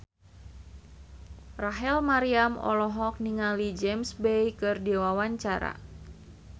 Rachel Maryam olohok ningali James Bay keur diwawancara